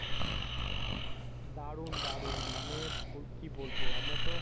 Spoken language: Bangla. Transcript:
দারুণ দারুণ মানি কি বলব? আমরাতো পুরা